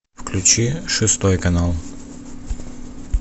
включи шестой канал